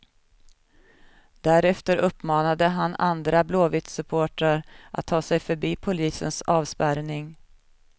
Därefter uppmanade han andra blåvittsupportrar att ta sig förbi polisens avspärrning.